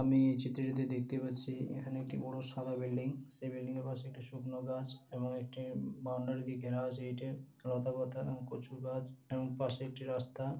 আমি এই চিত্র টি তে দেখতে পাচ্ছি এখানে একটি বড় সাদা বিল্ডিং । সেই বিল্ডিং এর পাশে একটি শুকনো গাছ এবং একটি বাউন্ডারি দিয়ে ঘেরা আছে ইটের। লতাপাতা এবং কচু গাছ এবং পাশে একটি রাস্তা।